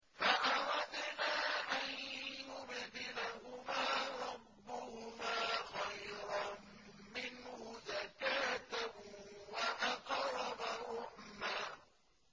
فَأَرَدْنَا أَن يُبْدِلَهُمَا رَبُّهُمَا خَيْرًا مِّنْهُ زَكَاةً وَأَقْرَبَ رُحْمًا